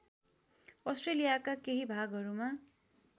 अस्ट्रेलियाका केही भागहरूमा